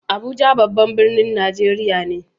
Abuja babban birnin Najeriya ne.